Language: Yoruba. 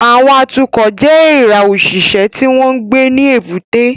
Àwọn atukọ̀ jẹ́ èèrà òṣìṣẹ́ tí wọ́n ń gbé ní èbúté